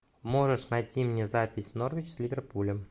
можешь найти мне запись норвич с ливерпулем